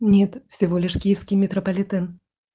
нет всего лишь киевский метрополитен